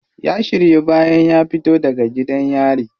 Ya shiryu bayan ya fito daga gidan yari.